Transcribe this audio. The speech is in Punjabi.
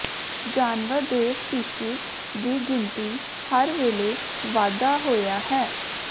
ਜਾਨਵਰ ਦੇ ਸਪੀਸੀਜ਼ ਦੀ ਗਿਣਤੀ ਹਰ ਵੇਲੇ ਵਾਧਾ ਹੋਇਆ ਹੈ